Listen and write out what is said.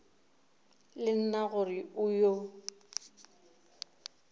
le nna gore o yo